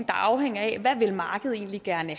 afhænger af hvad markedet egentlig gerne